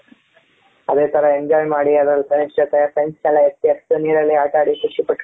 ಅದೇ ತರ enjoy ಮಾಡಿ ಅದರಲ್ಲಿ friends ಜೊತೆ friends ನೆಲ್ಲ ಎತ್ತು ಎಸೆದು ನೀರಲ್ಲಿ ಆಟ ಆಡಿ ಖುಷಿಪಟ್ಟು